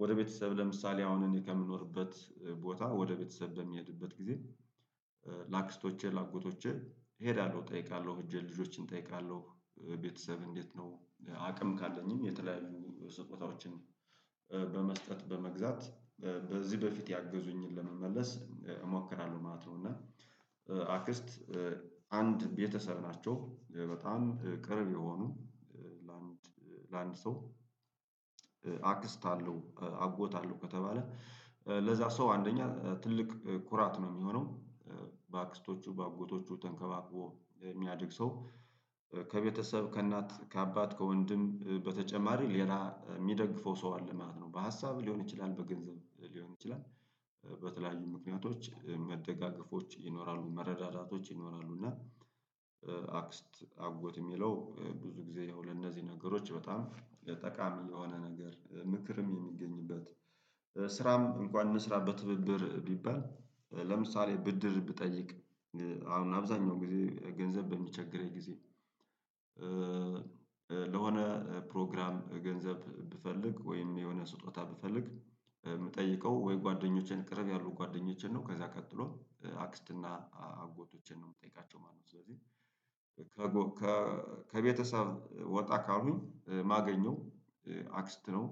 ወደ ቤተሰብ ለምሳሌ አሁን እኔ ከምኖርበት ቦታ ወደ ቤተሰብ በሚሄድበት ጊዜ— ለአክስቶቼ ለአጎቶቼ እሄዳለሁ እጠይቃለሁ ሄጄ ልጆችን እጠይቃለሁ። ቤተሰብ እንዴት ነው አቅም ካለኝም የተለያዩ ስጦታዎችን— በመስጠት በመግዛት በዚህ በፊት ያገዙኝን ለመመለስ እሞክራለሁ ማለት ነው። እና— አክስት አንድ ቤተሰብ ናቸው— በጣም ቅርብ የሆኑ ለአንድ ለአንድ ሰው አክስት አለው አጎት አለው ከተባለ ለዛ ሰው አንደኛ ትልቅ ኩራት ነው የሚሆነው። በአክስቶቹ በአጎቶቹ ተንከባቅቦ የሚያድግ ሰው— ከቤተሰብ ከእናት ከአባት ከወንድም በተጨማሪ ሌላ የሚደግፈው ሰው አለ ማለት ነው። በሀሳብ ሊሆን ይችላል በገንዘብ ሊሆን ይችላል—። በተለያዩ ምክንያቶች መደጋገፎች ይኖራሉ መረዳዳቶች ይኖራሉ። እና አክስት አጎት የሚለው ብዙ ጊዜ የሆነ እነዚህ ነገሮች በጣም የጠቃሚ የሆነ ነገር ምክርም የሚገኝበት። ስራም እንኳን እንስራ በትብብር ቢባል— ለምሳሌ ብድር ብጠይቅ— አሁን አብዛኛው ጊዜ ገንዘብ በሚቸግረኝ ጊዜ ለሆነ ፕሮግራም ገንዘብ ብፈልግ ወይም የሆነ ስጦታ ብፈልግ የምጠይቀው ወይ ጓደኞቼን ቅርብ ያሉ ጓደኞቼን ነው። ከዛ ቀጥሎ አክስት እና አጎቶቼን ነው የምጠይቃቸው ማለት ነው። ስለዚህ— ከቤተሰብ ወጣ ካሉኝ ማገኘው— አክስት ነው።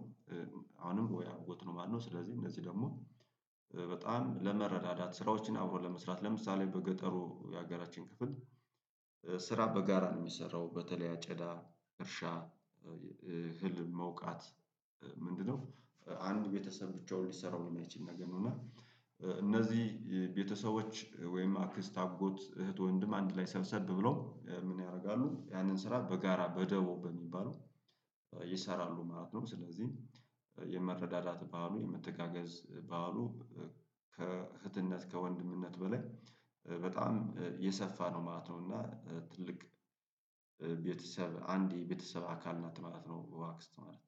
አሁንም በወይ አጎት ነው ማለት ነው። ስለዚህ እነዚህ ደግሞ— በጣም ለመረዳዳት ስራዎችን አብሮ ለመስራት ለምሳሌ በገጠሩ የሀገራችን ክፍል ስራ በጋራ ነው የሚሰራው—። በተለይ አጨዳ እርሻ ህልም መውቃት ምንድነው? አንድ ቤተሰብ ብቻውን ሊሰራው የሚችል ነገር። እና እነዚህ ቤተሰቦች ወይም አክስት አጎት እህት ወንድም አንድ ላይ ሰብሰብ ብለው ምን ያደርጋሉ? ያንን ስራ በጋራ በደቡብ በሚባለው— ይሰራሉ ማለት ነው። ስለዚህ የመረዳዳት በዓሉ የመተጋገዝ ባህሉ ከእህትነት ከወንድምነት በላይ በጣም እየሰፋ ነው ማለት ነው። እና ትልቅ— ቤተሰብ አንዴ ቤተሰብ አካል ናት ማለት ነው አክስት ማለት።